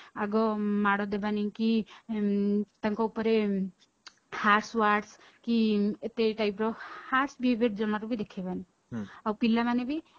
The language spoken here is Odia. ଆଗ ମାଡ ଦେବାନି କି ତାଙ୍କ ଉପରେ words କି ଏତେ type ର ଜମାରୁ ବି ଦେଖେଇବନି ଆଉ ପିଲାମାନେ ବି